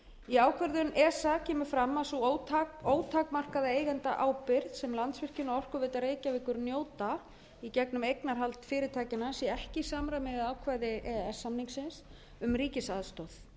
í ákvörðun esa kemur fram að sú ótakmarkaða eigendaábyrgð sem landsvirkjun og orkuveita reykjavíkur njóta í gegnum eignarhald fyrirtækjanna sé ekki í samræmi við ákvæði e e s samningsins um ríkisaðstoð